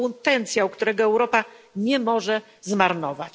To potencjał, którego Europa nie może zmarnować.